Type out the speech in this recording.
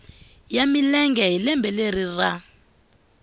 ya milenge hi lembe ra